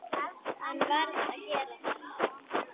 Hann varð að gera þetta.